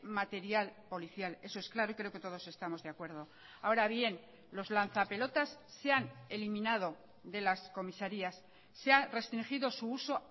material policial eso es claro y creo que todos estamos de acuerdo ahora bien los lanzapelotas se han eliminado de las comisarías se ha restringido su uso